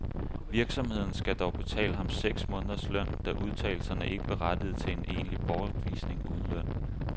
Virksomheden skal dog betale ham seks måneders løn, da udtalelserne ikke berettigede til en egentlig bortvisning uden løn.